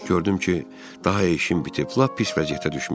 Gördüm ki, daha işim bitib, lap pis vəziyyətdə düşmüşəm.